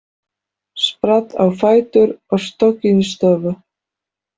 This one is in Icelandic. Spratt á fætur og stökk inn í stofu.